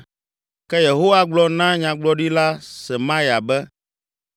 Ke Yehowa gblɔ na Nyagblɔɖila Semaya be,